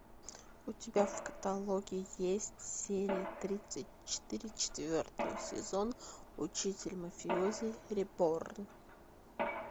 у тебя в каталоге есть серия тридцать четыре четвертого сезона учитель мафиози реборн